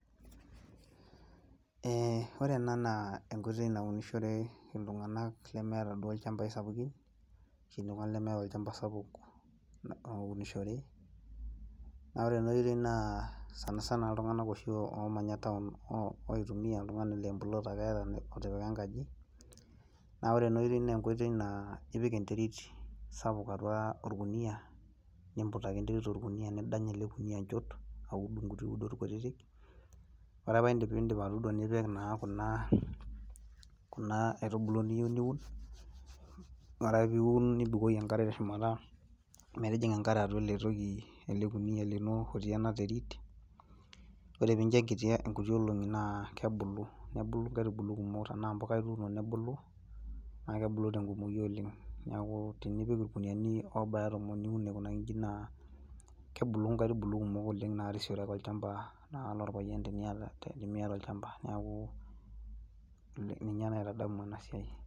Ee ore ena naa enkoitoi naunishore iltunganak lemeeta duo olchamba sapukin ashu aa oltungani lemeeta olchamba sapuk ounishore. Naa ore enaitoi naa sanasana iltunganak oshi oomanya taon oitumiya oltungani laa embulot ake eata otipika enkaji, naa ore naa enkoitoi naa, ipik enterit sapuk atua olkunia, nimbut ake enterit olkuniyia nidany ele kuniyia injot aud inkuti udot kutiti, ore ake piidip atuudo nipik naa kuna aitubulu niyieu niun. Ore ake piiun nibukoki enkare teshumata metijinga enkare atua ele toki ele kuniyia lino otii ena terit, ore piinjo inkuti olonki naa kebulu nebulu tenaa imbuka ituuno nebulu, naakebulu tenkumoyu oleng', neeku tenipik ilkuyiani aobaya tomon niun aikunaki inji naa kebulu inkaitubulu kumok oleng' narisiore ake olchamba lopayian naa tenimiata olchamba, neeku ninye naa aitadamu ena siai.